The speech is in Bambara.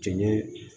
Cɛ ɲee